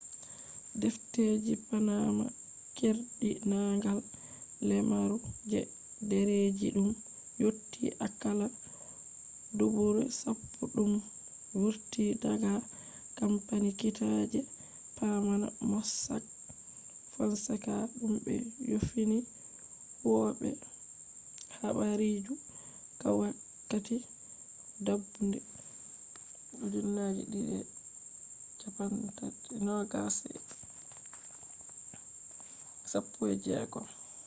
defteji panama” keerdinaangal lemaru je dereji dum yotti akalla dubuure sappo dum vurti daga campani kiita je panama mossack fonseca dum be yofini huwobe habaruji wakkati dabbunde 2016